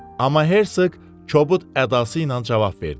Amma Hersoq kobud ədası ilə cavab verdi.